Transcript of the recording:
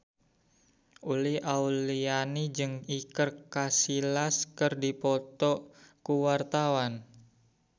Uli Auliani jeung Iker Casillas keur dipoto ku wartawan